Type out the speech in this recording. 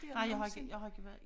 Nej jeg har ikke jeg har ikke været